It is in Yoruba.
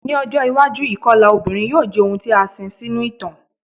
Ni ojo iwaju ikọla obinrin yoo jẹ ohun ti a sin sinu itan